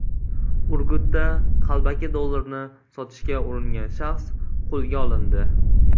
Urgutda qalbaki dollarni sotishga uringan shaxs qo‘lga olindi.